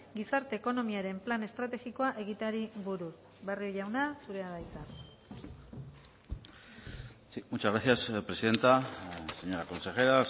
gizarte ekonomiaren plan estrategikoa egiteari buruz barrio jauna zurea da hitza muchas gracias presidenta señora consejera